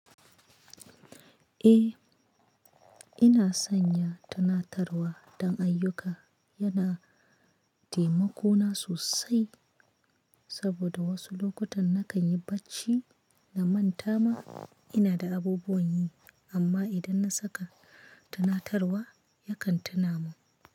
Eh, ina sanya tunatarwa don ayyuka yana taimako na sosai saboda wosu lokutan nakan yi bacci na manta ma ina da abubuwan yi amma idan na saka tunatarwa yakan tuna min.